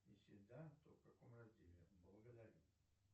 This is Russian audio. если да то в каком разделе благодарю